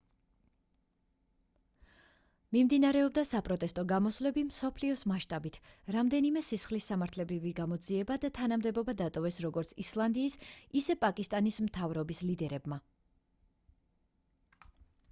მიმდინარეობდა საპროტესტო გამოსვლები მსოფლიოს მასშტაბით რამდენიმე სისხლის სამართლებრივი გამოძიება და თანამდებობა დატოვეს როგორც ისლანდიის ისე პაკისტანის მთავრობის ლიდერებმა